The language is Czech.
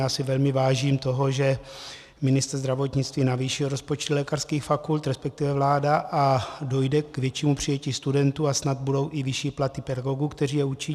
Já si velmi vážím toho, že ministr zdravotnictví navýšil rozpočty lékařských fakult, respektive vláda, a dojde k většímu přijetí studentů a snad budou i vyšší platy pedagogů, kteří je učí.